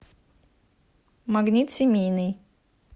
магнит семейный